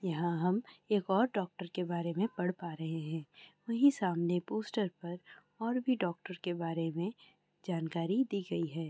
यहाँ हम एक और डॉक्टर के बारे में पढ़ पा रहे हैं। वहीं सामने पोस्टर पर और भी डॉक्टर के बारे में जानकारी दी गयी है।